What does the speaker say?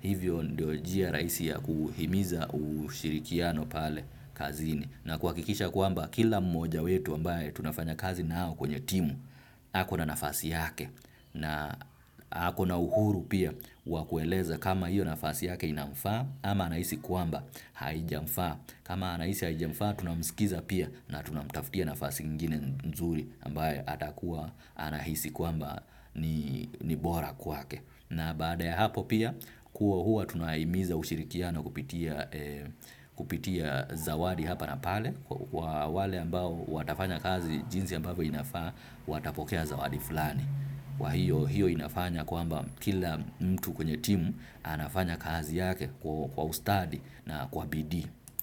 Hivyo ndio njia rahisi ya kuhimiza ushirikiano pale kazini. Na kwa kikisha kwamba kila mmoja wetu ambaye tunafanya kazi na au kwenye timu, hako na nafasi yake na hako na uhuru pia wakueleza kama hiyo nafasi yake inamfaa ama anaisi kwamba haijamfaa. Kama anahisi haijamfaa tunamskiza pia na tunamtaftia nafasi ingini nzuri ambayo atakuwa anahisi kwamba ni bora kwake. Na baada ya hapo pia kuwa huwa tunahimiza ushirikiano kupitia kupitia zawadi hapa na pale kwa wale ambao watafanya kazi jinsi ambavyo inafaa watapokea zawadi fulani. Kwa hiyo hiyo inafanya kwamba kila mtu kwenye timu anafanya kazi yake kwa ustadi na kwa bidii.